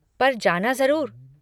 पर जाना जरुर।